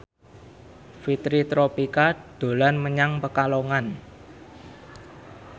Fitri Tropika dolan menyang Pekalongan